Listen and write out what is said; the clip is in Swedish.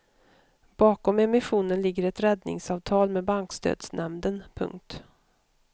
Bakom emissionen ligger ett räddningsavtal med bankstödsnämnden. punkt